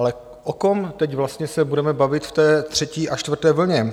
Ale o kom teď vlastně se budeme bavit v té třetí a čtvrté vlně?